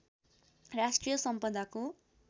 राष्ट्रिय सम्पदाको